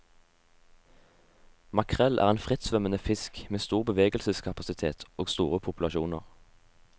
Makrell er en frittsvømmende fisk med stor bevegelseskapasitet og store populasjoner.